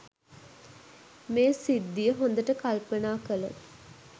මේ සිද්ධිය හොඳට කල්පනා කළොත්